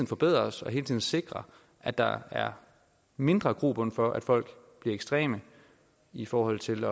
forbedrer os og hele tiden sikrer at der er mindre grobund for at folk bliver ekstreme i forhold til